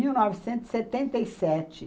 Em mil novecentos e setenta e sete